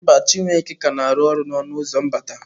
Mba, Chiwuike ka na-arụ ọrụ n'ọnụ ụzọ mbata.